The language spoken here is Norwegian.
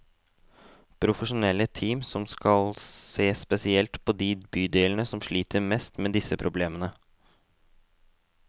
Profesjonelle team som skal se spesielt på de bydelene som sliter mest med disse problemene.